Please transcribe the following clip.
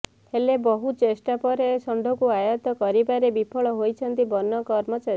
ହେଲେ ବହୁ ଚେଷ୍ଟା ପରେ ଷଣ୍ଢକୁ ଆୟତ କରିବାରେ ବିଫଳ ହୋଇଛନ୍ତି ବନ କର୍ମଚାରୀ